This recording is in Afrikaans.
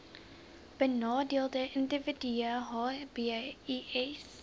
benadeelde individue hbis